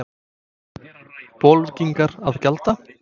Bolvíkingar að gjalda?